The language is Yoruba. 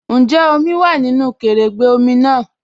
Ǹjẹ́ omi wá nínu kẹrẹ̀gbẹ̀ omi náà?